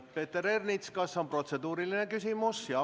Peeter Ernits, kas protseduuriline küsimus?